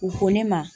U ko ne ma